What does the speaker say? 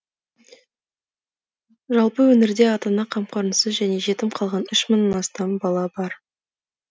жалпы өңірде ата ана қамқорынсыз және жетім қалған үш мыңнан астам бала бар